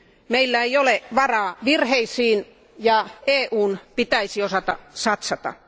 Meillä ei ole varaa virheisiin, ja EUn pitäisi osata satsata.